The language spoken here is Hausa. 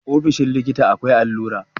ofoshin likita akwai allura